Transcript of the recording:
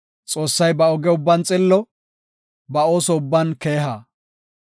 Xoossay ba oge ubban xillo; ba ooso ubban keeha.